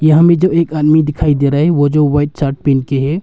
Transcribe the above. यहां में जो एक आदमी दिखाई दे रहा है ओ जो व्हाइट शर्ट पिन्ह के है।